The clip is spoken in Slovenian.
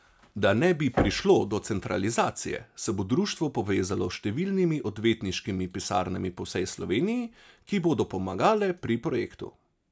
Da ne bi prišlo do centralizacije, se bo društvo povezalo s številnimi odvetniškimi pisarnami po vsej Sloveniji, ki bodo pomagale pri projektu.